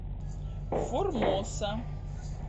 формоса